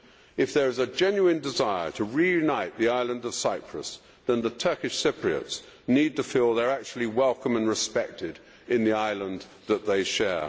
If there is a genuine desire to reunite the island of Cyprus then the Turkish Cypriots need to feel they are actually welcome and respected in the island that they share.